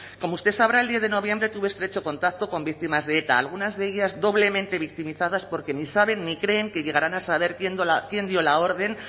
como usted sabrá el diez de noviembre tuve estrecho contacto con víctimas de eta algunas de ellas doblemente victimizadas porque ni saben ni creen que llegaran a saber quién dio la orden